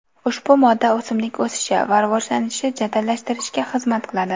Ushbu modda o‘simlik o‘sishi va rivojlanishini jadallashtirishga xizmat qiladi.